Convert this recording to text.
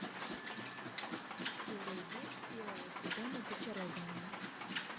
серия девять первого сезона зачарованные